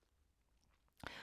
TV 2